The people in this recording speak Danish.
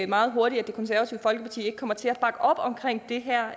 meget hurtigt at det konservative folkeparti ikke kommer til at bakke op om det her